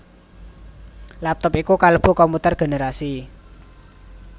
Laptop iku kalebu komputer generasi